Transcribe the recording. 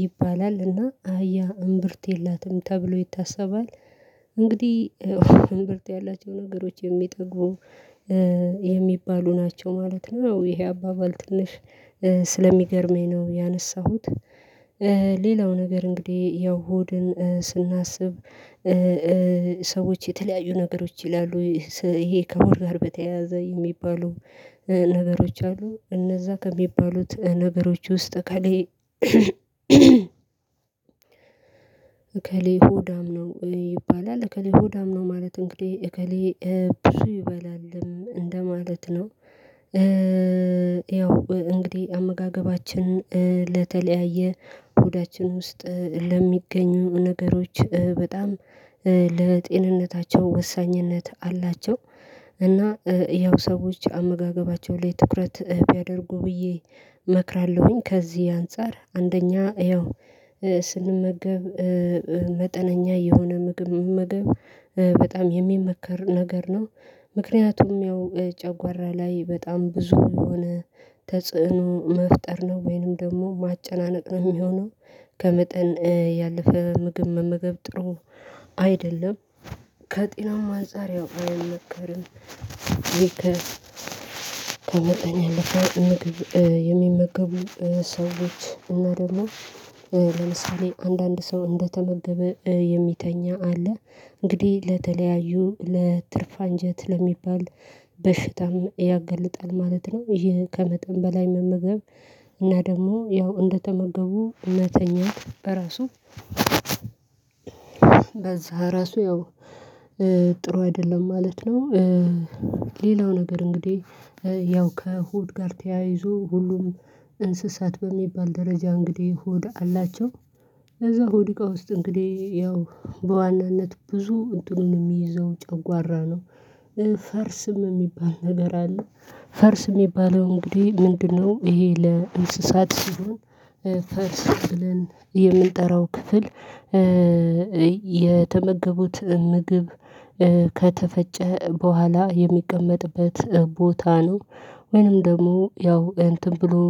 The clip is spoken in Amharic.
ይባላል እና አህያ እምብርት የላትም ተብሎ ይታሰባል። እንግዲህ እምብርት ያላቸው ነገሮች የሚጠግቡ የሚባሉ ናቸው ማለት ነው ይሄ አባባል ትንሽ ስለሚገርመኝ ነው ያነሳሁት። ሌላው ነገር እንግዲህ ያው ሆድን ስናስብ ሰዎች የተለያዩ ነገሮች ይላሉ ይሄ ከወር ጋር በተያያዘ የሚባሉ ነገሮች አሉ እነዛ ከሚባሉት ነገሮች ውስጥ እከሌ እከሌ ሆዳም ነው ይባላል እከሌ ሆዳም ነው ማለት እንግዲህ እከሌ ብር ይበላልም እንደማለት ነው። ያው እንግዲህ አመጋገባችን ለተለያየ ሆዳችን ውስጥ ለሚገኙ ነገሮች በጣም ለጤንነታቸው ወሳኝነት አላቸው እና ያው ሰዎች አመጋገባቸው ላይ ትኩረት ቢያደርጉ ብዬ እመክራለሁኝ። ከዚህ አንፃር አንደኛ ያው ስንመገብ መጠነኛ የሆነ ምግብ መመገብ በጣም የሚመከር ነገር ነው። ምክንያቱም ያው ጨጓራ ላይ በጣም ብዙ የሆነ ተጽዕኖ መፍጠር ነው ወይንም ደሞ ማጨናነቅ ነው የሚሆነው ከመጠን ያለፈ ምግብ መመገብ ጥሩ አይደለም ከጤናማ አንፃር ያው አይመከርም። ከመጠን ያለፈ ምግብ የሚመገቡ ሰዎች እና ደሞ ለምሳሌ አንዳንድ ሰው እንደተመገበ የሚተኛ አለ እንግዲህ ለተለያዩ ለትርፍ አንጀት ለሚባል በሽታም ያገለጣል ማለት ነው። ይሄ ከመጠን በላይ መመገብ እና ደሞ ያው እንደተመገቡ መተኛት በራሱ በዛ ራሱ ያው ጥሩ አይደለም ማለት ነው። ሌላው ነገር እንግዲህ ያው ከሆድ ጋር ተያይዞ ሁሉም እንስሳት በሚባል ደረጃ እንግዲህ ሆድ አላቸው። ከዛ ሆድ እቃ ውስጥ እንግዲህ ያው በዋናነት ብዙ እንትኑን የሚይዘው ጨጓራ ነው። ፈርስም የሚባል ነገር አለ ፈርስ የሚባለው እንግዲህ ምንድነው? ይሄ ለእንስሳት ሲሆን ፈርስ ብለን የእምንጠራው ክፍል የተመገቡት ምግብ ከተፈጨ በኋላ የሚቀመጥበት ቦታ ነው። ወይንም ደሞ ያው እንትን ብሎ